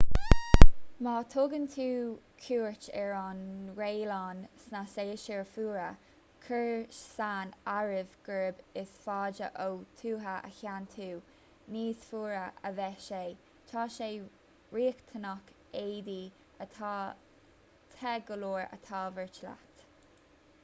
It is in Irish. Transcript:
má thugann tú cuairt ar an ngraonlainn sna séasúir fhuara cuir san áireamh gurb is faide ó thuaidh a théann tú níos fuaire a bheidh sé tá sé riachtanach éadaí atá te go leor a thabhairt leat